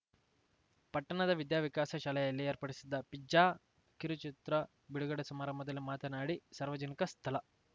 ಪಟ್ಟಣದ ವಿದ್ಯಾವಿಕಾಸ ಶಾಲೆಯಲ್ಲಿ ಏರ್ಪಡಿಸಿದ್ದ ಫಿಜ್ಜಾ ಕಿರುಚಿತ್ರ ಬಿಡುಗಡೆ ಸಮಾರಂಭದಲ್ಲಿ ಮಾತನಾಡಿ ಸಾರ್ವಜನಿಕ ಸ್ಥಳ